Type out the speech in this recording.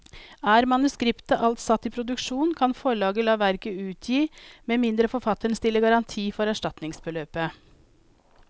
Er manuskriptet alt satt i produksjon, kan forlaget la verket utgi med mindre forfatteren stiller garanti for erstatningsbeløpet.